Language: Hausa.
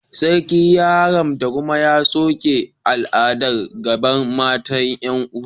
Sarki ya haramta kuma ya soke al'adar gadon mata 'yan'uwa